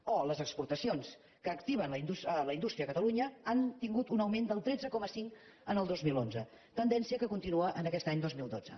o les exportacions que activen la indústria a catalunya han tingut un augment del tretze coma cinc en el dos mil onze tendència que continua aquest any dos mil dotze